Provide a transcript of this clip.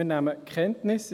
Ich sage es gerade vorweg: